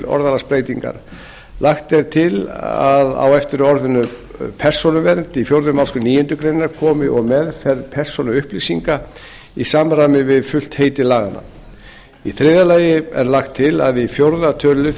orðalagsbreytingar annars lagt er til að á eftir orðinu persónuvernd í fjórðu málsgrein níundu grein komi og meðferð persónuupplýsinga í samræmi við fullt heiti laganna þriðja lagt er til að í fjórða tölulið